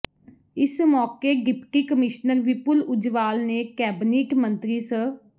ਇਸ ਮੌਕੇ deputy commissioner Vipul Ujjwal ਨੇ ਕੈਬਨਿਟ ਮੰਤਰੀ ਸ